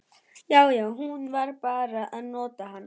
Já, já, hún var bara að nota hann.